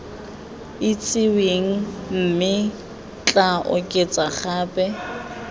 itsiweng mme tla oketsa gape